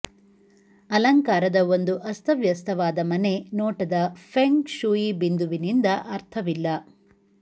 ಅಲಂಕಾರದ ಒಂದು ಅಸ್ತವ್ಯಸ್ತವಾದ ಮನೆ ನೋಟದ ಫೆಂಗ್ ಶೂಯಿ ಬಿಂದುವಿನಿಂದ ಅರ್ಥವಿಲ್ಲ